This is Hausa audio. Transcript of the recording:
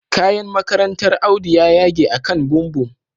Kayan makarantar Audu ya yage akan bumbum